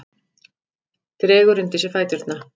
Dregur undir sig fæturna.